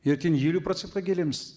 ертең елу процентке келеміз